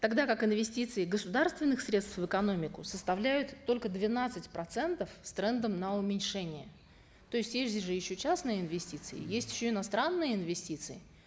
тогда как инвестиции государственных средств в экономику составляют только двенадцать процентов с трендом на уменьшение то есть есть же еще частные инвестиции есть еще иностранные инвестиции